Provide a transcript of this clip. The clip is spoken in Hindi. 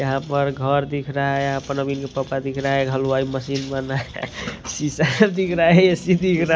यहाँ पर घर दिख रहा है यहां पर नवीन के पापा दिख रहा है हलवाई मशीन बना है सीसा दिख रहा है एसी दिख रहा है।